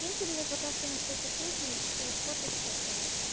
киньте мне пока что на всякий случай фото стефани